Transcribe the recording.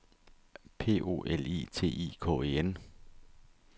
P O L I T I K E N